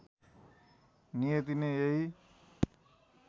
नियति नै यही